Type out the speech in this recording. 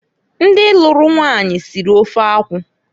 Ndi luru nwanyi siri ofe akwụ.